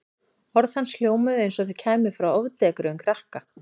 Orð hans hljómuðu eins og þau kæmu frá ofdekruðum krakka.